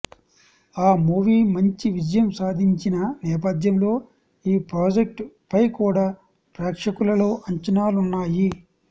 ఆ మూవీ మంచి విజయం సాధించిన నేపథ్యంలో ఈ ప్రాజెక్ట్ పై కూడా ప్రేక్షకులలో అంచనాలున్నాయి